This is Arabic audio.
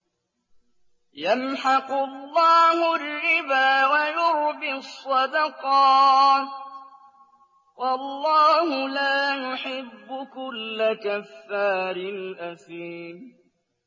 يَمْحَقُ اللَّهُ الرِّبَا وَيُرْبِي الصَّدَقَاتِ ۗ وَاللَّهُ لَا يُحِبُّ كُلَّ كَفَّارٍ أَثِيمٍ